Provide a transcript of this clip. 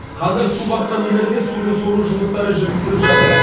қазір су басқан үйлерде суды сору жұмыстары жүргізіліп жатыр